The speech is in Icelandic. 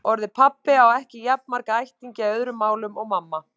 Orðið pabbi á ekki jafn marga ættingja í öðrum málum og mamma.